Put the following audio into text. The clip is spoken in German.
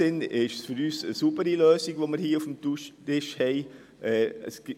Damit haben wir eine saubere Lösung auf dem Tisch.